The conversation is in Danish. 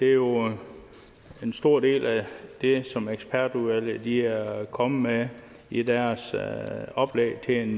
er jo en stor del af det som ekspertudvalget er kommet med i deres oplæg til en